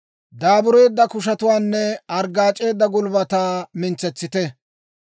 Daabureedda kushetuwaanne arggaac'eedda gulbbataa mintsetsite.